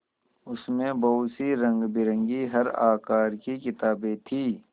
उसमें बहुत सी रंगबिरंगी हर आकार की किताबें थीं